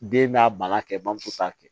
Den b'a bange bamuso t'a kɛ